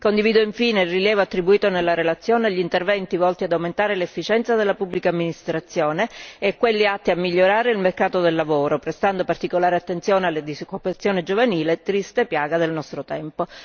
Condivido infine il rilievo attribuito nella relazione agli interventi volti ad aumentare l'efficienza della pubblica amministrazione e quelli atti a migliorare il mercato del lavoro, prestando particolare attenzione alla disoccupazione giovanile, triste piaga del nostro tempo.